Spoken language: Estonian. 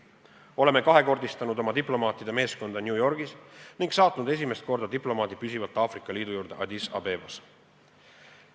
Oleme kahekordistanud oma diplomaatide meeskonda New Yorgis ning saatnud esimest korda diplomaadi püsivalt Aafrika Liidu juurde Addis Abebas.